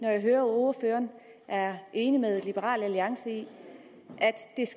når jeg hører ordføreren er enig med liberal alliance